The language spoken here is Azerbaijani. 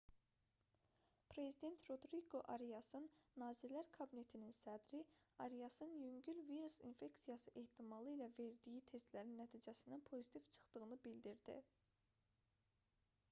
prezident rodriqo ariasın nazirlər kabinetinin sədri ariasın yüngül virus infeksiyası ehtimalı ilə verdiyi testlərin nəticəsinin pozitiv çıxdığını bildirdi